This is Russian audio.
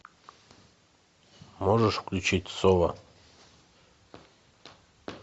можешь включить соло